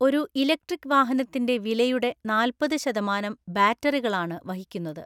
ഒരു ഇലക്ട്രിക് വാഹനത്തിന്റെ വിലയുടെ നാല്‍പതു ശതമാനം ബാറ്ററികളാണ് വഹിക്കുന്നത്.